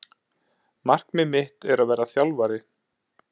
Markmið mitt er að verða þjálfari